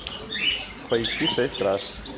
поищи шесть раз